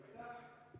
Aitäh!